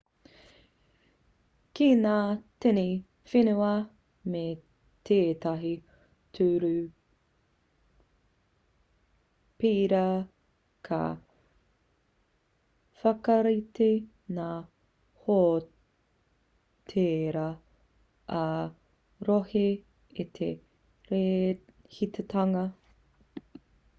ki ngā tini whenua me tētahi ture pērā ka whakarite ngā hōtēra ā-rohe i te rēhitatanga me mātua tono atu